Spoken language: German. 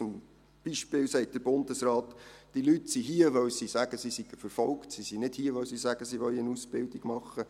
Zum Beispiel sagt der Bundesrat, diese Leute seien hier, weil sie sagen, sie seien verfolgt, und nicht, weil sie sagen, sie wollten eine Ausbildung machen.